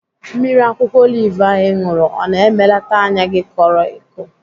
Mmiri akwụkwọ olive ahụ ị ṅụrụ ọ na-emelata anya gị koro eko?